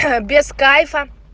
без кайфа